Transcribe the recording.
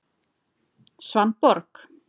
Svanborg